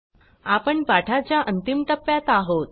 आपण पाठाच्या अंतिम टप्प्यात आहोत